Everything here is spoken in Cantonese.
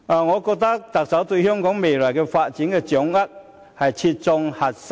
我認為，特首對香港未來發展的掌握，切中核心。